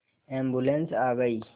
ambulance आ गई